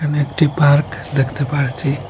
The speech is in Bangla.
এখানে একটি পার্ক দেখতে পারছি।